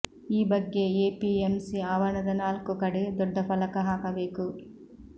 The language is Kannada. ಈ ಬಗ್ಗೆ ಎಪಿಎಂಸಿ ಆವರಣದ ನಾಲ್ಕು ಕಡೆ ದೊಡ್ಡ ಫಲಕ ಹಾಕಬೇಕು